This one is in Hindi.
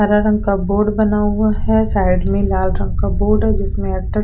हरे रंग का बोर्ड बना हुआ है साइड में लाल रंग का बोर्ड है जिसमे अब तक पेड़ नी--